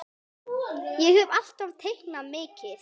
Ég hef alltaf teiknað mikið.